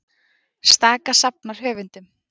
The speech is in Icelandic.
Staka safnar höfundum